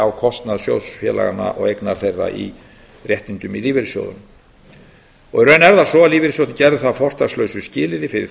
á kostnað sjóðfélaganna og eignar þeirra í réttindum í lífeyrissjóðunum í raun er það svo að lífeyrissjóðirnir gerðu það að fortakslausu skilyrði fyrir